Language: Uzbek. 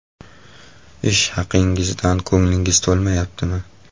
Ish haqingizdan ko‘nglingiz to‘lmayaptimi?